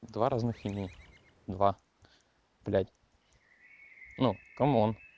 два разных имени два блять ну кэмон